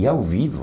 E ao vivo.